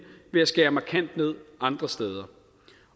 ved at skære markant ned andre steder